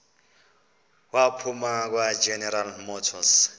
waphuma kwageneral motors